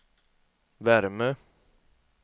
värme